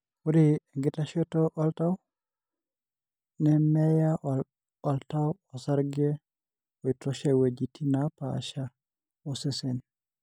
ore enkitashoto oltau, nameyaa oltau osarge oitosha iweujitin napaasha osesen.